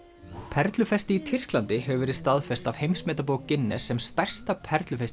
perlufesti í Tyrklandi hefur verið staðfest af heimsmetabók Guinness sem stærsta